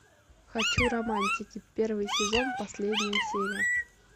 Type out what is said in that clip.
хочу романтики первый сезон последняя серия